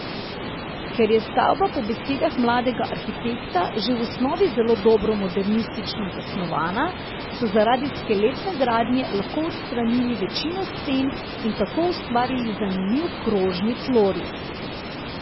Ker je stavba po besedah mladega arhitekta že v osnovi zelo dobro modernistično zasnovana, so zaradi skeletne gradnje lahko odstranili večino sten in tako ustvarili zanimiv krožni tloris.